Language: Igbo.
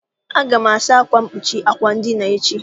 Aga m asa akwa mkpuchi àkwà edina echi.